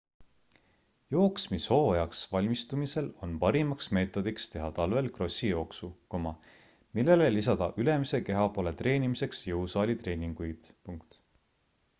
jooksmishooajaks valmistumisel on parimaks meetodiks teha talvel krossijooksu millele lisada ülemise kehapoole treenimiseks jõusaalitreeninguid